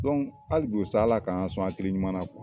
hali bikosa ALA k'an sɔn hakili ɲuman na